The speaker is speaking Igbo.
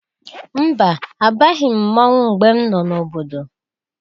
Mba! Abaghị m mmọnwe mgbe m nọ n'obodo.